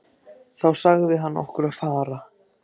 Þá sagði hann okkur að fara.